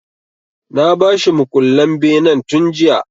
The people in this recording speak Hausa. Na ba shi mukullen benen tun jiya.